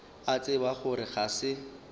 a tseba gore ga se